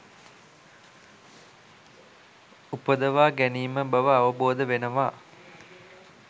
උපදවා ගැනීම බව අවබෝධ වෙනවා.